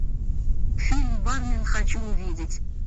фильм бармен хочу увидеть